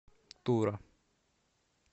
тура